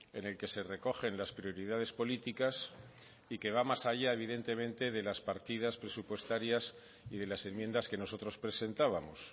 en el que se recogen las prioridades políticas que va más allá evidentemente de las partidas presupuestarias y de las enmiendas que nosotros presentábamos